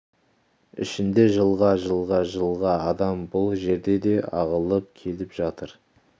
ішінде жылға жылға жылға адам бұл жерде де ағылып келіп жатыр